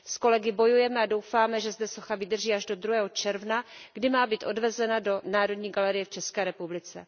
S kolegy bojujeme a doufáme, že zde socha vydrží až do 2. června, kdy má být odvezena do Národní galerie v České republice.